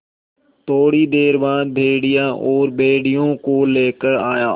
थोड़ी देर बाद भेड़िया और भेड़ियों को लेकर आया